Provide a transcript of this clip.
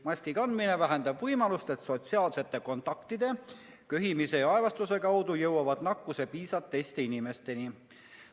Maski kandmine vähendab võimalust, et sotsiaalsete kontaktide, köhimise ja aevastuse kaudu jõuavad nakkuse piisad teiste inimesteni.